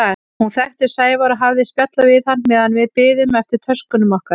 Hún þekkti Sævar og hafði spjallað við hann meðan við biðum eftir töskunum okkar.